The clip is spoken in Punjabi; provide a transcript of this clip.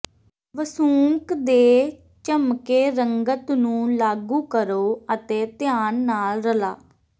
ਵਸੂੰਕ ਦੇ ਝਮੱਕੇ ਰੰਗਤ ਨੂੰ ਲਾਗੂ ਕਰੋ ਅਤੇ ਧਿਆਨ ਨਾਲ ਰਲਾ